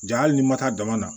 Ja hali ni ma taa dama na